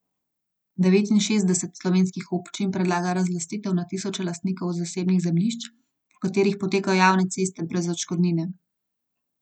Devetinšestdeset slovenskih občin predlaga razlastitev na tisoče lastnikov zasebnih zemljišč, po katerih potekajo javne ceste, brez odškodnine.